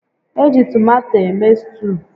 Eji tomato eme stuu